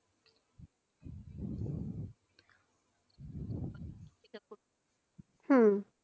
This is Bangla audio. হম